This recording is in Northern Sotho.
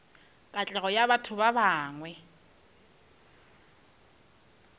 katlego ya batho ba bangwe